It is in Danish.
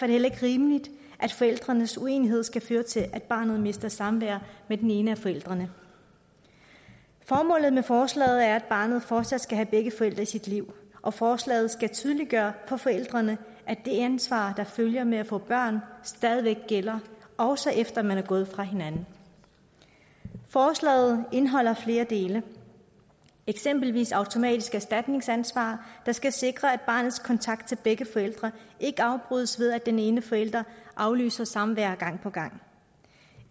det heller ikke rimeligt at forældrenes uenighed skal føre til at barnet mister samvær med den ene af forældrene formålet med forslaget er at barnet fortsat skal have begge forældre i sit liv og forslaget skal tydeliggøre for forældrene at det ansvar der følger med at få børn stadig væk gælder også efter man er gået fra hinanden forslaget indeholder flere dele eksempelvis automatisk erstatningsansvar der skal sikre at barnets kontakt til begge forældre ikke afbrydes ved at den ene forælder aflyser samvær gang på gang